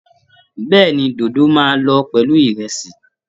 Bẹ́ẹ̀ni, dódó máa lọ pẹ̀lú ìrẹ̀sì